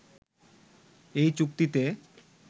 এই চুক্তিতে